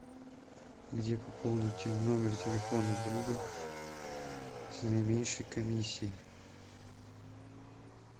где пополнить номер телефона друга с наименьшей комиссией